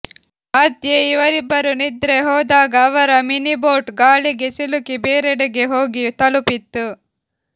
ಮಧ್ಯೆ ಇವರಿಬ್ಬರು ನಿದ್ರೆ ಹೋದಾಗ ಅವರ ಮಿನಿ ಬೋಟ್ ಗಾಳಿಗೆ ಸಿಲುಕಿ ಬೇರೆಡೆಗೆ ಹೋಗಿ ತಲುಪಿತ್ತು